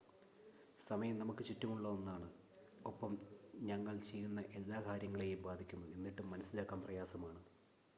സമയം നമുക്ക് ചുറ്റുമുള്ള ഒന്നാണ് ഒപ്പം ഞങ്ങൾ ചെയ്യുന്ന എല്ലാ കാര്യങ്ങളെയും ബാധിക്കുന്നു എന്നിട്ടും മനസ്സിലാക്കാൻ പ്രയാസമാണ്